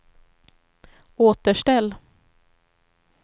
återställ